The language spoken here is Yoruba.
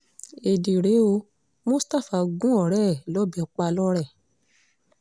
ẹ̀ẹ́dì rèé o mustapha gún ọ̀rẹ́ ẹ̀ lọ́bẹ̀ pa lọ́rẹ̀